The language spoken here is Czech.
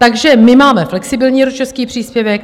Takže my máme flexibilní rodičovský příspěvek.